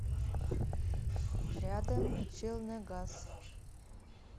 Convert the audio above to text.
рядом челныгаз